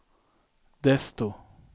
desto